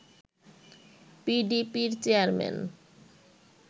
পিডিপির chairman